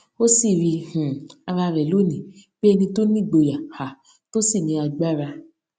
ó sì rí um ara rè lónìí bí ẹni tó nígboyà um tó sì ní agbára